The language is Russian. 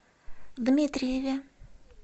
дмитриеве